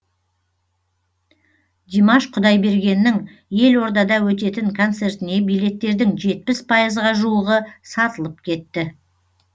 димаш құдайбергеннің елордада өтетін концертіне билеттердің жетпіс пайызға жуығы сатылып кетті